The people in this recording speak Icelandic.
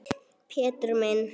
Pétur minn.